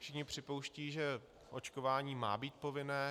Všichni připouštějí, že očkování má být povinné.